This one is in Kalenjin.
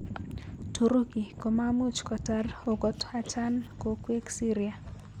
Turuki komamuch kotar okot achan kokwek Syria.